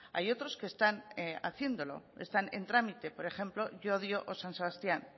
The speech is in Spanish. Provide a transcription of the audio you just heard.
hay otros que están haciéndolo están en trámite por ejemplo llodio o san sebastián